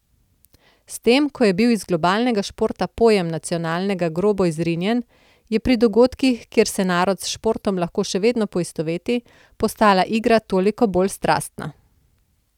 S tem, ko je bil iz globalnega športa pojem nacionalnega grobo izrinjen, je pri dogodkih, kjer se narod s športom lahko še vedno poistoveti, postala igra toliko bolj strastna.